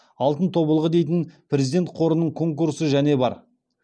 алтын тобылғы дейтін президент қорының конкурсы және бар